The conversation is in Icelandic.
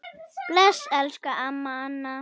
Bless, elsku amma Anna.